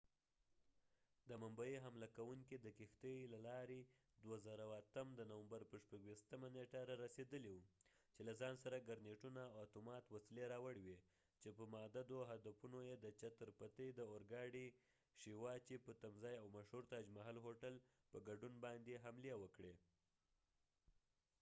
د ممبۍ حمله کوونکې د کښتی د لارې د 2008 د نومبر په 26 نیټه رارسیدلی و چې له ځان سره ګرنیټونه او اتومات وسلی راوړی وي چې په متعددو هدفونو یې د چتر پتی شيوا چې chatar pati shivaji د اور ګاډی په تمځاې او مشهور تاج محل هوټل په ګډون باندي یې حملی وکړي